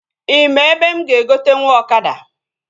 Ị maa ebe mụ ga-egotenwu ọkada?